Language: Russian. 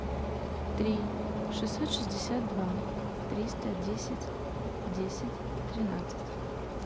три шестьсот шестьдесят два триста десять десять тринадцать